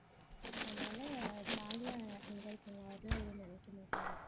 அதனால jolly ஆ enjoy பண்ணலாம் அவரெல்லாம் எதுவும் நினைக்கமாட்டாரு